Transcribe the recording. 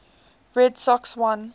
red sox won